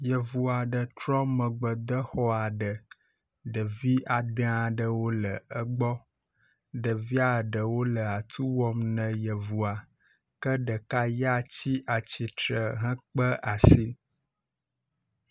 Yevu aɖe trɔ megbe de xɔ aɖe. Ɖevi ade aɖewo le egbɔ. Ɖevia ɖewo le atu wɔm na yevua ke ɖeka ya tsi atsitre hekpe asi.